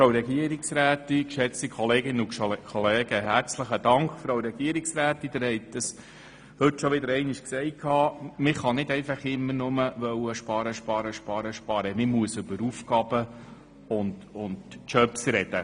Herzlichen Dank, Frau Regierungsrätin, Sie haben es auch heute wieder gesagt: Man kann nicht immer nur sparen und nochmals sparen, man muss auch über Aufgaben und Arbeitsplätze sprechen.